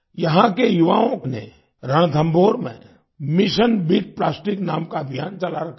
यहाँ के युवाओं ने रणथंभौर में मिशन बीट प्लास्टिक नाम का अभियान चला रखा है